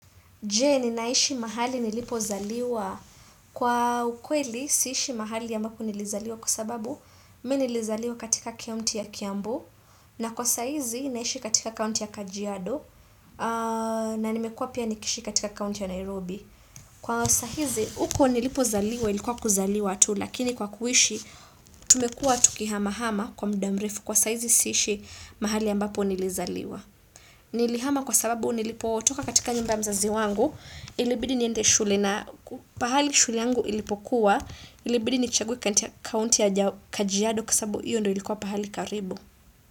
Je, ninaishi mahali nilipozaliwa. Kwa ukweli, siishi mahali ambapo nilizaliwa kwa sababu, mimi nilizaliwa katika kaunti ya Kiambu. Na kwa saa hizi, naishi katika kaunti ya Kajiado. Na nimekua pia nikiishi katika kaunti ya Nairobi. Kwa saa hizi, huko nilipozaliwa, ilikuwa kuzaliwa tu. Lakini kwa kuishi, tumekua tukihama hama kwa muda mrefu. Kwa saa hizi, siishi mahali ambapo nilizaliwa. Nilihama kwa sababu, nilipotoka katika nyumba ya mzazi wangu. Ilibidi niende shule na pahali shule yangu ilipokuwa ilibidi nichague kaunti ya kajiado kwa sababu hiyo ndiyo ilikuwa pahali karibu.